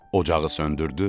Ocağı söndürdü.